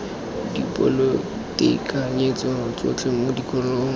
dipoelo ditekanyetso tsotlhe mo dikolong